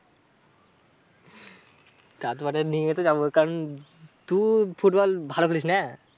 তা তো ব্যাটা নিয়ে তো যাবো। কারণ তু ফুটবল ভালো খেলিস না?